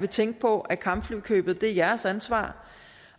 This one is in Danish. vil tænke på at kampflykøbet er jeres ansvar